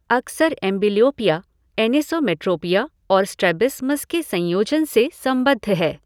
अक्सर amblyopia, anisometropia और strabismus के संयोजन से संबद्ध है।